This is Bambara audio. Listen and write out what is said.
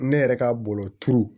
Ne yɛrɛ ka bɔlɔlɔ turu